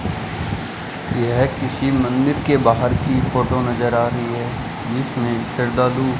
यह किसी मंदिर के बाहर की फोटो नजर आ रही है जिसमें श्रद्धालु --